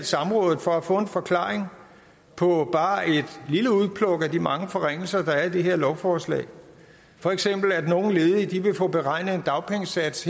samrådet for at få en forklaring på bare et lille udpluk af de mange forringelser der er i det her lovforslag for eksempel at nogle ledige vil få beregnet en dagpengesats